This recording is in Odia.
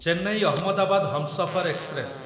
ଚେନ୍ନାଇ ଅହମଦାବାଦ ହମସଫର ଏକ୍ସପ୍ରେସ